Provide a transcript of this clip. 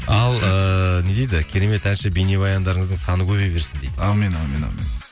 ал ііі не дейді керемет әнші бейнебаяндарыңыздың саны көбейе берсін дейді әумин әумин әумин